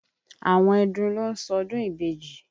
Àwọn ẹdun ló ń ṣọdún ìbejì.